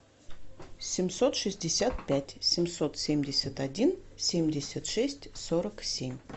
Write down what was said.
семьсот шестьдесят пять семьсот семьдесят один семьдесят шесть сорок семь